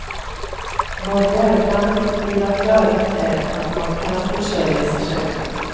Vad värdlandet vill ha klarlagt är, att man kan försörja sig själv.